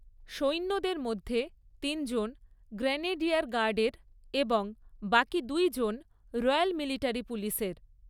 সৈন্যদের মধ্যে তিনজন গ্রেনেডিয়ার গার্ডের এবং বাকি দুইজন রয়্যাল মিলিটারি পুলিসের।